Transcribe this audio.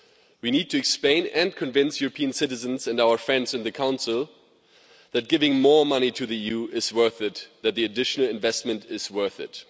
We need to explain and convince European citizens and our friends in the Council that giving more money to the EU is worth it and that the additional investment is worth it.